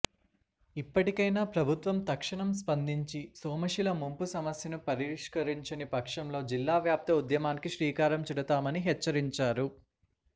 ఇప్పటికైనా ప్రభుత్వం తక్షణం స్పందించి సోమశిల ముంపు సమస్యను పరిష్కరించని పక్షంలో జిల్లా వ్యాప్త ఉద్యమానికి శ్రీకారం చుడతామని హెచ్చరించారు